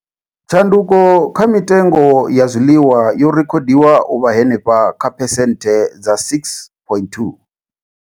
Tshanduko kha mitengo ya zwiḽiwa yo rekhodiwa u vha henefha kha phesenthe dza 6.2.